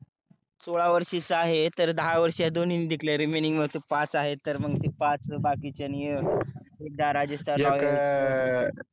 सोडा वर्षीचा आहे तर दहा वर्ष दोणीन जिकले remaining मध्ये पाच आहे तर मग ते पाच बाकीच्याणी एकदा राजस्थान एक